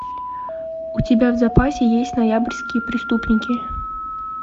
у тебя в запасе есть ноябрьские преступники